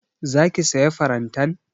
Za ki sayi farantan?